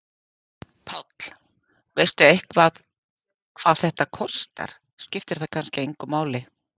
Páll: Veistu eitthvað hvað þetta kostar, skiptir það kannski engu máli?